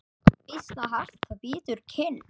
Býsna hart það bítur kinn.